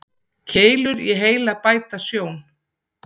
Keilur í heila bæta sjón.